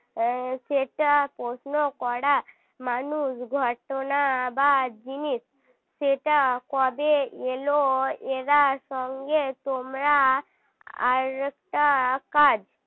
সেটা প্রশ্ন করা মানুষ ঘটনা বা জিনিস সেটা কবে এল এরা সঙ্গে তোমরা আর একটা কাজ